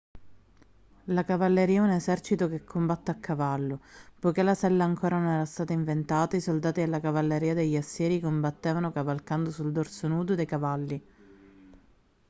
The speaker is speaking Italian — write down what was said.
la cavalleria è un esercito che combatte a cavallo poiché la sella ancora non era stata inventata i soldati della cavalleria degli assiri combattevano cavalcando sul dorso nudo dei cavalli